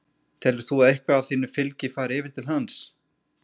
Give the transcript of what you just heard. Telur þú að eitthvað af þínu fylgi fari yfir til hans?